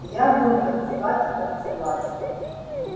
я буду танцевать и танцевать